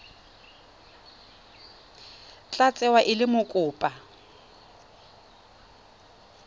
tla tsewa e le mokopa